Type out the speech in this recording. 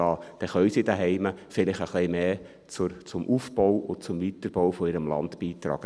Dann können sie zu Hause vielleicht etwas mehr zum Aufbau und zum Weiterbau ihres Landes beitragen.